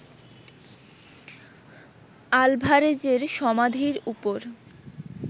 আলভারেজের সমাধির ওপর